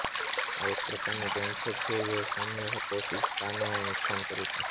આ એક પ્રકારનું કેન્સર છે જે સૌમ્ય કોશિકાને નુક્શાન કરે છે